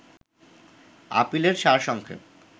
আপিলের সার সংক্ষেপ